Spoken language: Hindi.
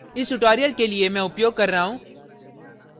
इस tutorial के लिए मैं उपयोग कर रहा हूँ